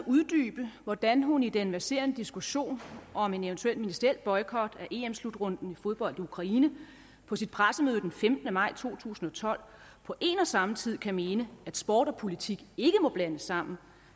uddybe hvordan hun i den verserende diskussion om en eventuel ministeriel boykot af slutrunden i fodbold i ukraine på sit pressemøde den femtende maj to tusind og tolv på en og samme tid kan mene at sport og politik ikke må blandes sammen